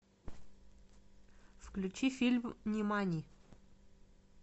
включи фильм нимани